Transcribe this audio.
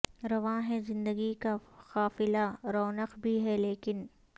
رواں ہے زندگی کا قافلہ رونق بھی ہے لیکن